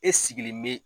E sigilen bɛ